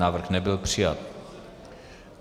Návrh nebyl přijat.